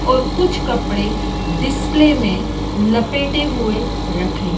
और कुछ कपड़े डिस्प्ले में लपेटे हुए रखे--